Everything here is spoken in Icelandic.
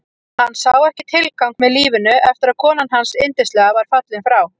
Hann sá ekki tilgang með lífinu eftir að konan hans yndislega var fallin frá.